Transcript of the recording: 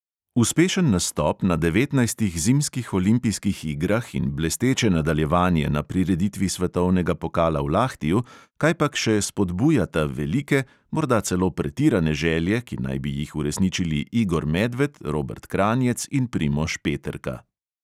Uspešen nastop na devetnajstih zimskih olimpijskih igrah in blesteče nadaljevanje na prireditvi svetovnega pokala v lahtiju kajpak še spodbujata velike, morda celo pretirane želje, ki naj bi jih uresničili igor medved, robert kranjec in primož peterka.